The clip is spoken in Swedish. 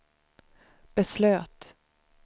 beslöt